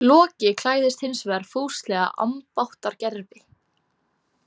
Loki klæðist hins vegar fúslega ambáttargervi.